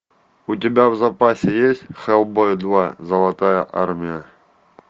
у тебя в запасе есть хеллбой два золотая армия